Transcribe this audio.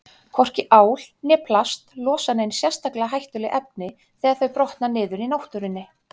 Hvorki ál né plast losa nein sérstaklega hættuleg efni þegar þau brotna niður í náttúrunni.